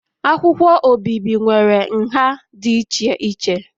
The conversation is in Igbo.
Akwụkwọ obibi nwere nha dị iche iche